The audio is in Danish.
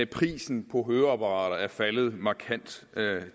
prisen på høreapparater er faldet markant